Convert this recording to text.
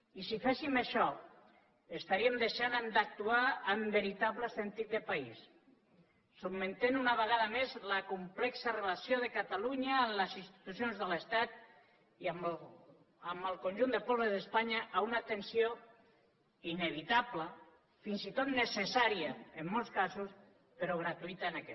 i si féssim això estaríem deixant d’actuar amb veritable sentit de país sotmetent una vegada més la complexa relació de catalunya amb les institucions de l’estat i amb el conjunt dels pobles d’espanya a una tensió inevitable fins i tot necessària en molts casos però gratuïta en aquest